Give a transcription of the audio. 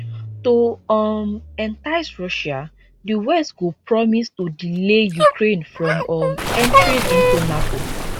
to um entice russia di west go promise to delay ukraine from um entering into nato